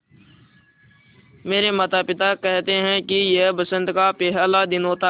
मेरे माता पिता केहेते है कि यह बसंत का पेहला दिन होता हैँ